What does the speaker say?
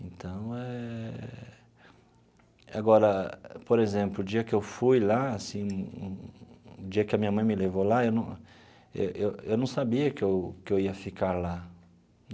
Então, é... Agora, por exemplo, o dia que eu fui lá, assim, o dia que a minha mãe me levou lá, eu não eu eu eu não sabia que eu que eu ia ficar lá.